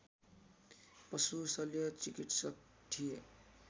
पशु शल्यचिकित्सक थिए